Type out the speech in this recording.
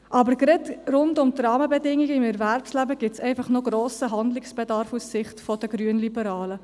Aber gerade rund um die Rahmenbedingungen im Erwerbsleben besteht noch ein grosser Handlungsbedarf aus Sicht der Grünliberalen.